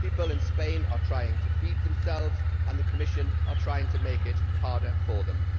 People in Spain are trying to feed themselves and the Commission is trying to make it harder for them.